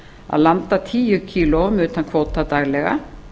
að landa tíu kílógrömm utan kvóta daglega